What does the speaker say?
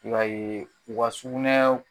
I b'a ye, u ka sukunɛw